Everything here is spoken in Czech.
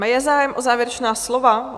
Je zájem o závěrečná slova? .